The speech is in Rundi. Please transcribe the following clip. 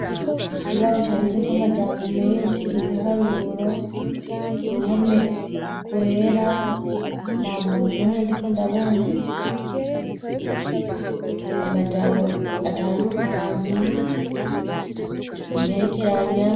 Ikibaho candize ko amajambo menshi ibiharuro uruhome rwera nta muntu n'umwe ndi ko ndabona amajambo atandukanye imperekeranya.